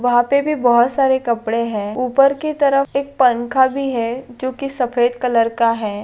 वह पे भी बहुत सारे कपड़े हैं ऊपर की तरफ एक पंखा भी है जो की सफेद कलर का है।